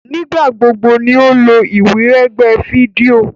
Nigbagbogbo ní o lo iwiregbe fídíò.